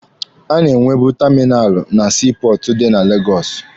A na-enwebu taminalụ na sii pọọtụ dị na Legọsụ.